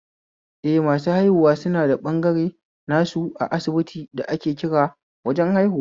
Eh, masu haihuwa suna da ɓangare nasu a asibiti da ake kira wajen haihuwa